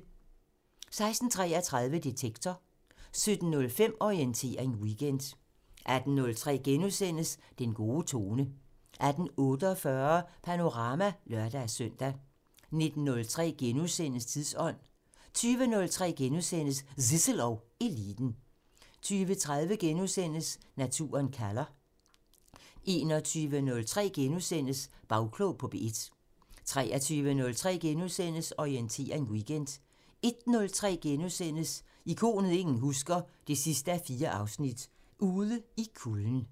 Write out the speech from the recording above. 16:33: Detektor 17:05: Orientering Weekend 18:03: Den gode tone * 18:48: Panorama (lør-søn) 19:03: Tidsånd * 20:03: Zissel og Eliten * 20:30: Naturen kalder * 21:03: Bagklog på P1 * 23:03: Orientering Weekend * 01:03: Ikonet ingen husker – 4:4 Ude i kulden *